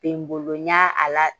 Be n bolo n ɲ'a a la